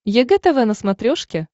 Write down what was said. егэ тв на смотрешке